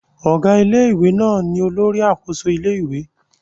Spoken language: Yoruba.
Ọ̀gá ilé-ìwé náà ni olórí àkóso ilé-ìwé